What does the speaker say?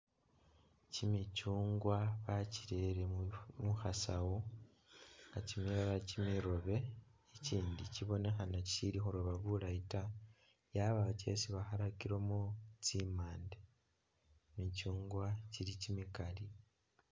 kyimikyungwa bakyirele muno mukhasaawu nga kyimilala kyimiroobe ikyindi kibonekhana kyishili khubonekhana bulaayi ta kyabaawo kyesi bakhalakilemo tsimande kyimikyungwa kyili kyimikaali.